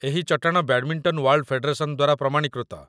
ଏହି ଚଟାଣ badminton world federation ଦ୍ୱାରା ପ୍ରମାଣୀକୃତ